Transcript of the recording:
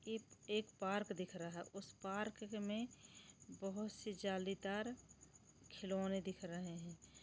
App एक park दिख रहा है उस पार्क मे बहोत से जालीदार खिलौने दिख रहे है।